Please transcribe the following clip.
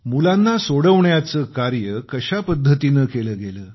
मुलांना सोडवण्याचे कार्य कशा पद्धतीनं केलं गेलं